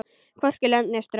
Hvorki lönd né strönd.